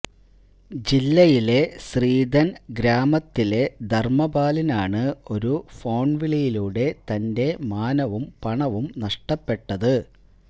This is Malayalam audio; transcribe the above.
ജില്ലയിലെ ശ്രീധന് ഗ്രാമത്തിലെ ധര്മപാലിനാണ് ഒരു ഫോണ് വിളിയിലൂടെ തന്റെ മാനവും പണവും നഷ്ടപ്പെട്ടത്